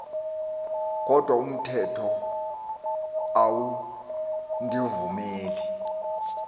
kodwa umthetho awundivumeli